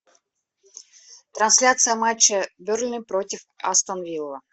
трансляция матча бернли против астон вилла